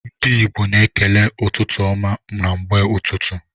Ndi igbo na ekele ụtụtụ ọma na mgbe ụtụtụ.